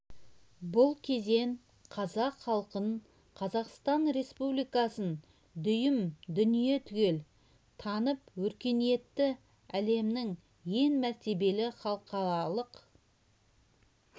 бұл кезең қазақ халқын қазақстан республикасын дүйім дүние түгел танып өркениетті әлемнің ең мәртебелі халықаралық